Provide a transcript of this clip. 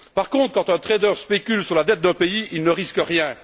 Par contre, quand un trader spécule sur la dette d'un pays, il ne risque rien.